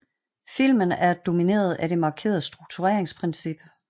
Filmen er domineret af det markerede struktureringsprincip